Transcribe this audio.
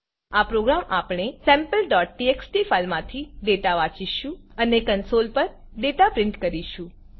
આ પ્રોગ્રામ આપણે sampleટીએક્સટી ફાઈલમાથી ડેટા વાંચીશું અને કન્સોલ પર ડેટા પ્રિન્ટ કરીશું